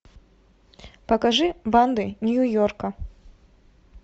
покажи банды нью йорка